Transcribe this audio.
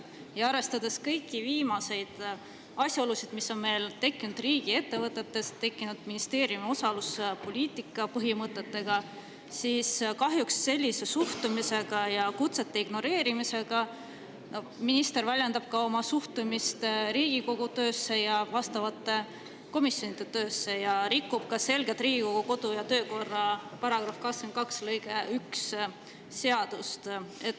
Arvestades ka kõiki viimaseid asjaolusid, mis on tekkinud meie riigiettevõtetes ning ministeeriumi osaluspoliitika põhimõtteid, väljendab minister sellise suhtumisega ja kutsete ignoreerimisega kahjuks oma suhtumist Riigikogu töösse, vastavate komisjonide töösse ja rikub ka selgelt Riigikogu kodu‑ ja töökorra seaduse § 22 lõiget 1.